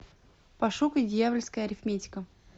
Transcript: пошукай дьявольская арифметика